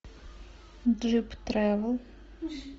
джип тревел